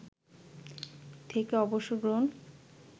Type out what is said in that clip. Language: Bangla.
থেকে অবসর গ্রহণ